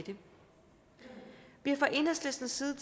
det fra enhedslistens side